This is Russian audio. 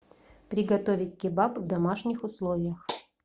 приготовить кебаб в домашних условиях